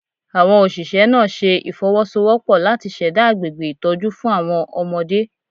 Awon Oṣiṣẹ naa ṣe ifowosowopo lati ṣẹda agbegbe itọju fun awọn ọmọde